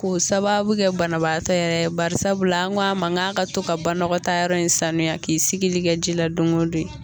Ko sababu kɛ banabaatɔ yɛrɛ, barisabula an ko a man ka ka to ka banɔgɔtaa yɔrɔ in sanuya k'i sigili kɛ ji la don ko don ye.